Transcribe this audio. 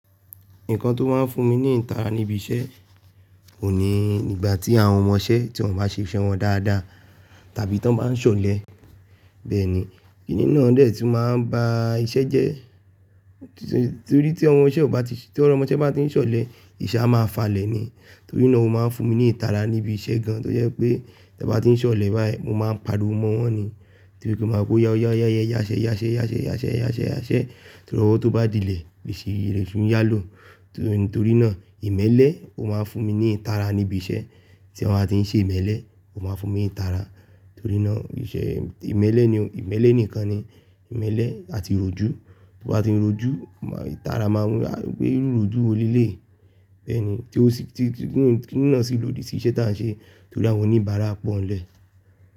Nǹkan tó máa ń fún mi ní ìtara níbi iṣẹ́ ò ní ìgbà tí àwọn ọmọṣẹ́ tí wọ́n bá ṣe iṣẹ́ wọn dáadáa tàbí tan bá ń ṣọlẹ̀. Bẹ́ẹ̀ ni, kìnní náà dẹ tun maa n ba iṣẹ́ jẹ torí ti ọmọ iṣẹ́ o báa ti, ti ọmọṣẹ́ bá ti ń ṣọlẹ̀, ìṣẹ́ a máa falẹ̀ ni. Torí náà ó máa ń fún mi ní ìtara níbi iṣẹ́ gan, tó jẹ́ pé tí a bá ti ń ṣọlẹ̀ báyìí, mo máa ń pariwo mọ́ wọ́n ni. Torí kí n máa ko "ya, ya, ya, yẹ yá ṣẹ́, yá ṣẹ́, yá ṣẹ́, yá ṣẹ́, yá ṣẹ́, yá ṣẹ́" torí ọwọ́ tó bá dílẹ̀, iṣe le ṣu n yá lò. Torí náà ìmẹ́lẹ́ ó máa ń fún mi ní ìtara níbi iṣẹ́. Tí èèyàn bá ti ń ṣe ìmẹ́lẹ́, ó máa ń fún mi ní ìtara. Torí náà iṣẹ́ ìmẹ́lẹ́ ni, ìmẹ́lẹ́ nìkan ni, ìmẹ́lẹ́ àti ròjú. Ti o bá ti ń ròjú ma, ìtara máa wù, a pe iru írojù wo léleyi. Bẹ́ẹ̀ ni, tí ó sì ti, kìnní náà sì lòdì sí ìṣe tí à ń ṣe torí àwọn oníbàárà pọ̀nlẹ̀.